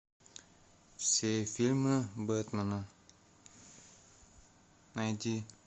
все фильмы бэтмена найди